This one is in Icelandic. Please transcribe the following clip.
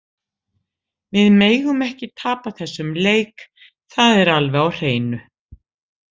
Við megum ekki tapa þessum leik, það er alveg á hreinu.